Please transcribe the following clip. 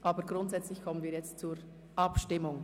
Aber trotzdem kommen wir jetzt zur Abstimmung.